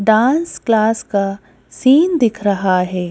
Dance class का scene दिख रहा है।